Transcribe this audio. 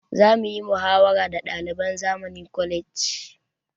Za muyi muhawara da ɗaliban zamani college